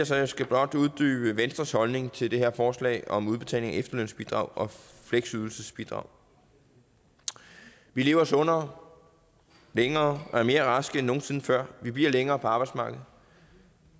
så jeg skal blot uddybe venstres holdning til det her forslag om udbetaling af efterlønsbidrag og fleksydelsesbidrag vi lever sundere længere og er mere raske end nogen sinde før vi bliver længere tid på arbejdsmarkedet